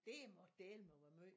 Det må dælme være måj